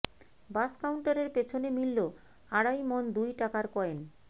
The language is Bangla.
বাস কাউন্টারের পেছনে মিলল আড়াই মণ দুই টাকার কয়েন